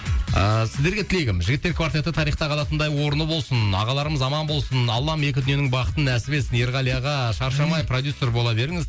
ыыы сіздерге тілегім жігіттер квартеті тарихта қалатындай орны болсын ағаларымыз аман болсын аллам екі дүниенің бақытын нәсіп етсін ерғали аға шаршамай продюссер бола беріңіз